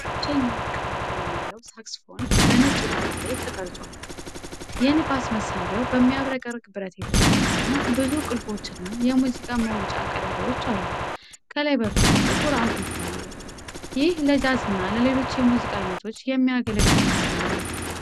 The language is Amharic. ብቸኛ ወርቃማ ቀለም ያለው ሳክስፎን በነጭ ዳራ ላይ ተቀርጿል። የንፋስ መሳሪያው በሚያብረቀርቅ ብረት የተሰራ ሲሆን፣ ብዙ ቁልፎችና የሙዚቃ መውጫ ቀዳዳዎች አሉት። ከላይ በኩል ጥቁር አፉ ይታያል። ይህ ለጃዝና ለሌሎች የሙዚቃ አይነቶች የሚያገለግል መሳሪያ ነው።